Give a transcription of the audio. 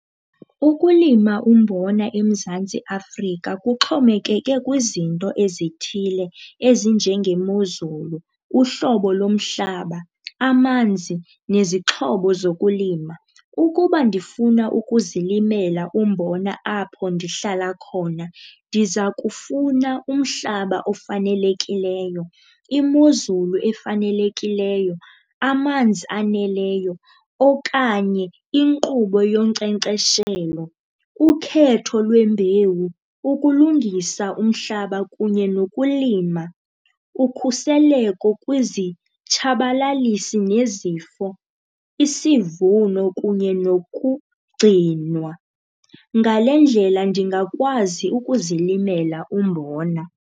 Ukulima umbona eMzantsi Afrika kuxhomekeke kwizinto ezithile ezinjengemozulu, uhlobo lomhlaba, amanzi, nezixhobo zokulima. Ukuba ndifuna ukuzilimela umbona apho ndihlala khona, ndiza kufuna umhlaba ofanelekileyo, imozulu efanelekileyo, amanzi aneleyo okanye inkqubo yonkcenkceshelo, ukhetho lwembewu, ukulungisa umhlaba kunye nokulima, ukhuseleko kwizitshabalalisi nezifo, isivuno kunye nokugcinwa. Ngale ndlela ndingakwazi ukuzilimela umbona.